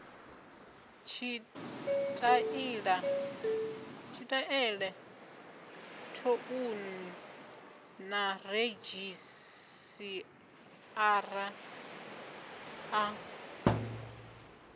tshitaela thouni na redzhisiṱara a